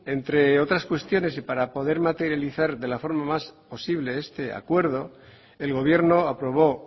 entre otras cuestiones y para poder materializar de la forma más posible este acuerdo el gobierno aprobó